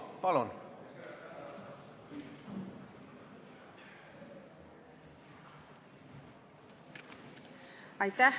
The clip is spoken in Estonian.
Palun!